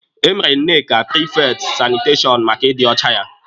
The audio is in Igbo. E mere Nneka prifekti sanitashọn maka ịdị ọcha ya.